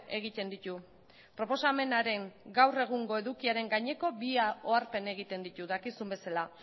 egiten ditu proposamenaren gaur egungo edukiaren gaineko bi oharpen egiten ditu dakizun bezala